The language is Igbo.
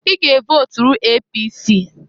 I ga evoturu APC!